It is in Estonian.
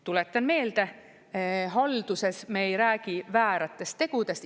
Tuletan meelde, halduses me ei räägi vääratest tegudest.